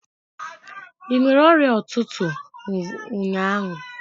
Ị nwere ọrịa ụtụtụ ụnyaahụ?